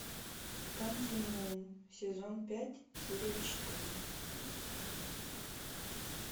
континуум сезон пять серия четыре